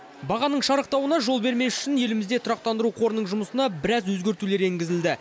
бағаның шарықтауына жол бермес үшін елімізде тұрақтандыру қорының жұмысына біраз өзгертулер енгізілді